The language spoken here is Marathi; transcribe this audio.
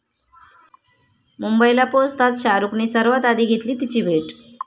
मुंबईला पोहचताच शाहरुखने सर्वात आधी घेतली 'तिची' भेट!